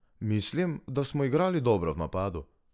Mislim, da smo igrali dobro v napadu.